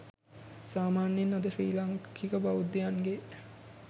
සාමාන්‍යයෙන් අද ශ්‍රී ලාංකික බෞද්ධයන්ගේ